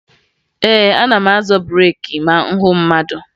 Ee, ana m azọ breeki ma m hụ mmadụ